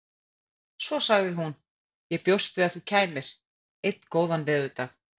Svo sagði hún: Ég bjóst við að þú kæmir. einn góðan veðurdag